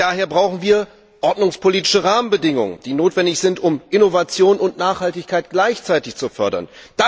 Daher brauchen wir ordnungspolitische Rahmenbedingungen, um Innovation und Nachhaltigkeit gleichzeitig zu fördern.